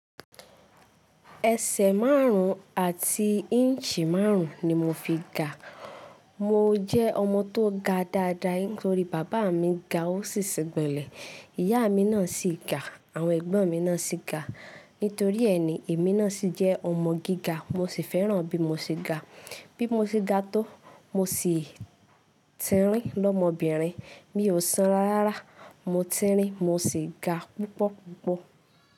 Ẹsẹ̀ márùn-ún àti inch márùn-ún ni mo fi ga. Mo jẹ́ ọmọ tó ga dáadáa nítorí bàbá mi ga, ó sì sín gbónlẹ̀, ìyá mi náà sì ga, àwọn ẹ̀gbọ́n mi náà sì ga. Nítorí ẹ ní èmi náà sì jẹ́ ọmọ gíga mo sì fẹ́ràn bí mo ṣe ga. Bí mo ṣe ga tó, mo sì tínrín lọ́mọbìnrin. Mi ò san rárá, mo tínrín, mo sì ga púpọ̀púpọ̀.